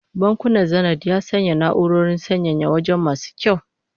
Bankin Zenith ya sanya na'urorin sanyaya waje masu kyau